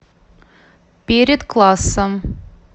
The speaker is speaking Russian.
перед классом